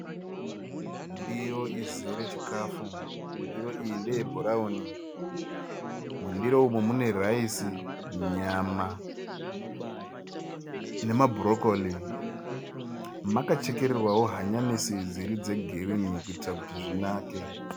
Ndiro izere chikafu. Ndiro iyi ndeyebhurawuni. Mundiro umu mune(rice), nyama nema(brocoli). Makachekererwawo hanyanisi dziri dzegirinhi kuitira kuti zvinake.